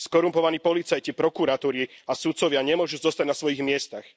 Skorumpovaní policajti, prokuratúry a sudcovia nemôžu zostať na svojich miestach.